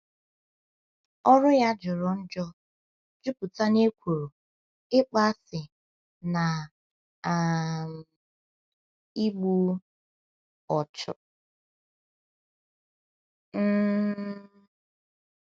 Ọrụ ya jọrọ njọ, jupụta n’ekworo, ịkpọasị, na um igbu ọchụ. um